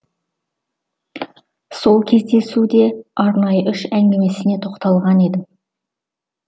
сол кездесуде арнайы үш әңгімесіне тоқталған едім